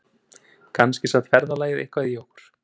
Kannski sat ferðalagið eitthvað í okkur